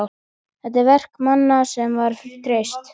Þetta er verk manna sem var treyst!